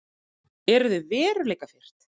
Eru þau veruleikafirrt?